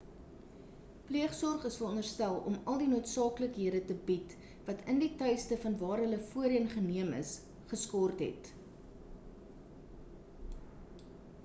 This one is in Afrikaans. pleegsorg is veronderstel om al die noodsaaklikhede te bied wat in die tuiste van waar hulle voorheen geneem is geskort het